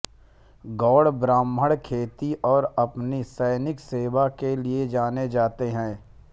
गौड़ ब्राह्मण खेती और अपनी सैनिक सेवा के लिए जाने जाते हैं